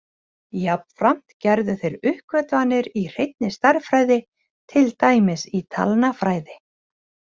Jafnframt gerðu þeir uppgötvanir í hreinni stærðfræði, til dæmis í talnafræði.